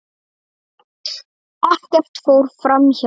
Ekkert fór framhjá henni.